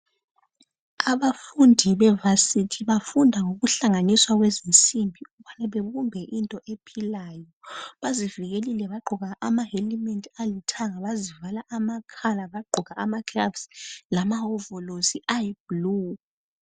Abafundi bevasithi bafunda ngokuhlanganiswa kwezimsimbi babumbe into ephilayo bazivikelile bagqoka amahelimethi alithanga bazivala amakhala bagqoka amagloves lamahovolosi ayiblue.